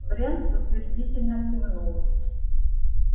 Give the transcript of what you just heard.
брент утвердительно кивнул